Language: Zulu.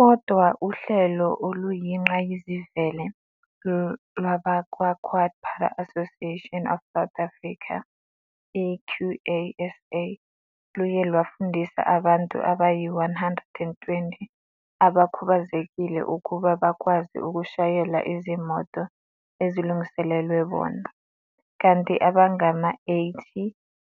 Kodwa uhlelo oluyingqayizivele lwabakwa-QuadPara Association of South Africa, i-QASA, luye lwafundisa abantu abayi-120 abakhubazekile ukuba bakwazi ukushayela izimoto ezilungiselelwe bona, kanti abangama-80